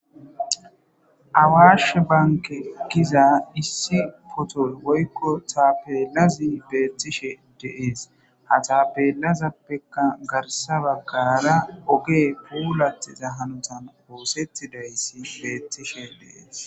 Awaashe bankke gizaa issi qothoy woykko thaappella beeththishee de7ees; ha taappeellazappekka garssa baggaara ogee puulaththiza hanothan ooseththidayssi beeththishee de7ees.